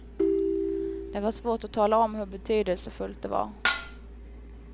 Det var svårt att tala om hur betydelsefullt det var.